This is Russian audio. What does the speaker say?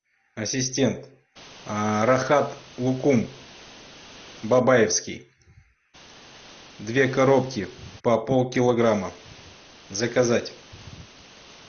ассистент рахат лукум бабаевский две коробки по пол килограмма заказать